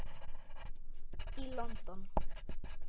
í London.